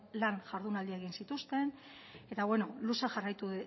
lan jardunaldia egin zituzten eta luze jarraitu